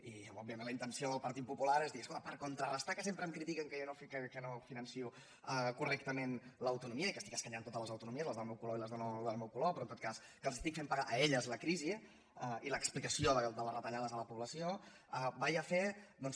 i òbviament la intenció del partit popular és dir escolta per contrarestar que sempre em critiquen que no finanço correctament l’autonomia i que estic escanyant totes les autonomies les del meu color i no del meu color però en tot cas que els estic fent pagar a elles la crisi i l’explicació de les retallades a la població faré doncs